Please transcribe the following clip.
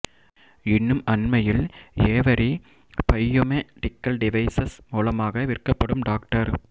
இன்னும் அண்மையில் Avery biomedical devices மூலமாக விற்கப்படும் டாக்டர்